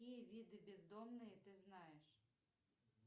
какие виды бездомные ты знаешь